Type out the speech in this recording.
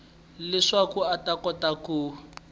leswaku a ta kota ku